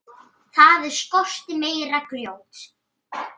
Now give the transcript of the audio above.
Það skorti meira grjót.